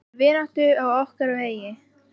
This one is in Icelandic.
Fyrir vináttu á okkar vegi.